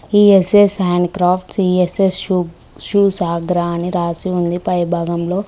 ESS hand craft E S S shoes Agra అని రాసి ఉంది పై భాగంలో.